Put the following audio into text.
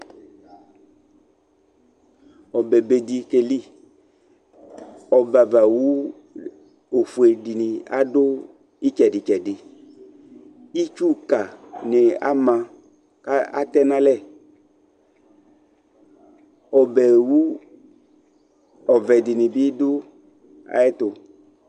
Ɔbɛbe dɩ keli Ɔbɛavawu ɔfue dɩnɩ adʋ ɩtsɛdɩ-tsɛdɩ Itsukanɩ ama kʋ atɛ nʋ alɛ Ɔbɛwu ɔvɛ dɩnɩ bɩ dʋ ayɛtʋ